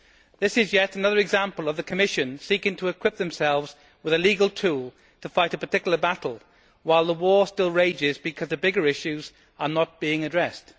This is yet another example of the Commission seeking to equip themselves with a legal tool to fight a particular battle while the war still rages because the bigger issues are not being addressed.